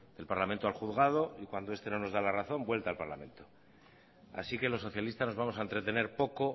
del parlamento al juzgado y cuando este no nos da la razón vuelta al parlamento así que los socialistas nos vamos a entretener poco